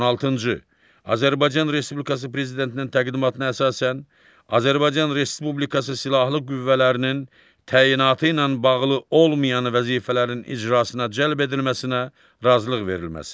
On altıncı, Azərbaycan Respublikası Prezidentinin təqdimatına əsasən Azərbaycan Respublikası Silahlı Qüvvələrinin təyinatı ilə bağlı olmayan vəzifələrin icrasına cəlb edilməsinə razılıq verilməsi.